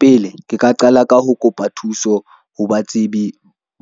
Pele ke ka qala ka ho kopa thuso ho batsebi